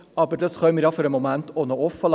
Für den Moment können wir dies noch offenlassen.